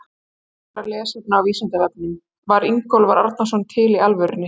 Frekara lesefni á Vísindavefnum: Var Ingólfur Arnarson til í alvörunni?